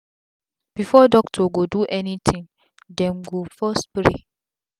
before doctor go do any tin dem go first pray